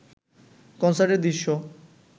কনসার্টের দৃশ্য